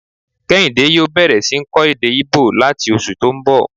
Kéhìndé yòó bẹ̀rẹ̀ sí ń kọ́ èdè íbò láti oṣù tó n bọ̀